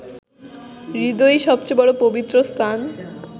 হৃদয়ই সবচেয়ে বড় পবিত্র স্থান